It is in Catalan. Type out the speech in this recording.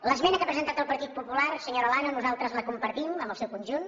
l’esmena que ha presentat el partit popular senyora olano nosaltres la compartim en el seu conjunt